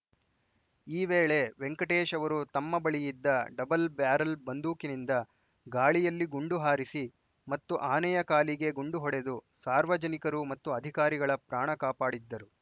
ಈ ವೇಳೆ ವೆಂಕಟೇಶ್‌ ಅವರು ತಮ್ಮ ಬಳಿ ಇದ್ದ ಡಬ್ಬಲ್‌ ಬ್ಯಾರಲ್‌ ಬಂದೂಕಿನಿಂದ ಗಾಳಿಯಲ್ಲಿ ಗುಂಡು ಹಾರಿಸಿ ಮತ್ತು ಆನೆಯ ಕಾಲಿಗೆ ಗುಂಡು ಹೊಡೆದು ಸಾರ್ವಜನಿಕರು ಮತ್ತು ಅಧಿಕಾರಿಗಳ ಪ್ರಾಣ ಕಾಪಾಡಿದ್ದರು